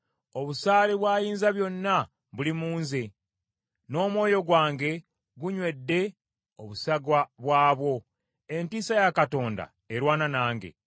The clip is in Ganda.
Obusaale bwa Ayinzabyonna buli mu nze n’omwoyo gwange gunywedde obusagwa bwabwo: entiisa ya Katonda erwana nange.